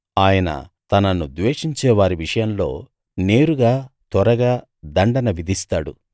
ఆయన తనను ద్వేషించేవారి విషయంలో నేరుగా త్వరగా దండన విధిస్తాడు